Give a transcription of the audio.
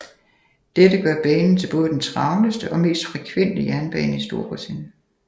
Dette gør banen til både den travleste og mest frekvente jernbane i Storbritannien